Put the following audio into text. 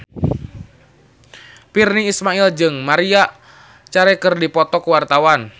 Virnie Ismail jeung Maria Carey keur dipoto ku wartawan